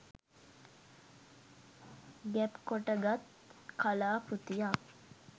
ගැබ් කොට ගත් කලා කෘතියක්